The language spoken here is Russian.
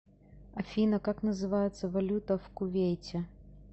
афина как называется валюта в кувейте